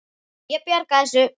Ég bjarga þessu.